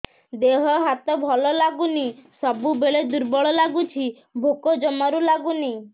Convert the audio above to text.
ଦେହ ହାତ ଭଲ ଲାଗୁନି ସବୁବେଳେ ଦୁର୍ବଳ ଲାଗୁଛି ଭୋକ ଜମାରୁ ଲାଗୁନି